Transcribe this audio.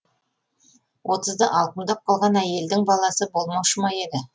отызды алқымдап қалған әйелдің баласы болмаушы ма еді